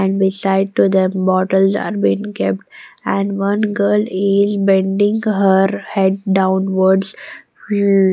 and beside to them bottles are been kept and one girl is bending her head downwards --